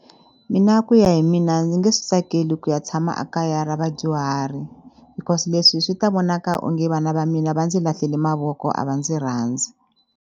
Mina ku ya hi mina ni nge swi tsakeli ku ya tshama a kaya ra vadyuhari because leswi swi ta vonaka onge vana va mina va ndzi lahlele mavoko a va ndzi rhandzi.